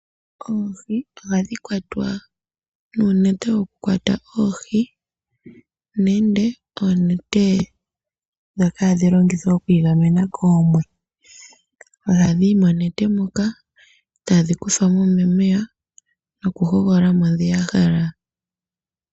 Oohi ohadhi kwatwa nuunete woku kwata oohi nenge oonete ndhoka hadhi longithwa oku igamena koomwe. Ohadhi yi monete moka etadhi kuthwa mo momeya noku hogolola mo ndho ya hala.